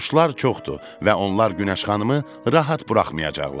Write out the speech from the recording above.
Quşlar çoxdur və onlar Günəş xanımı rahat buraxmayacaqlar.